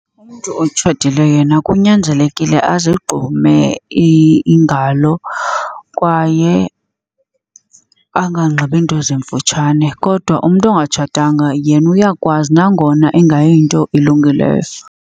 Umntu otshatileyo yena kunyanzelekile azigqume iingalo kwaye anganxibi nto zimfutshane. Kodwa umntu ongatshatanga yena uyakwazi nangona engayinto ilungileyo.